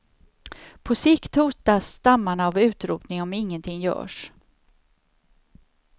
På sikt hotas stammarna av utrotning om ingenting görs.